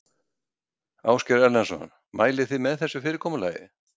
Ásgeir Erlendsson: Mælið þið með þessu fyrirkomulagi?